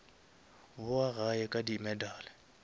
bowa gae ka di medal